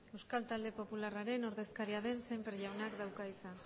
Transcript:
euskal talde popularraren ordezkariaren sémper jaunak dauka hitza